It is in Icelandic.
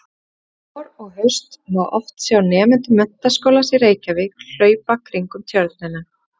Vor og haust má oft sjá nemendur Menntaskólans í Reykjavík hlaupa kringum Tjörnina.